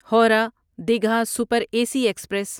Howrah Digha super AC سی express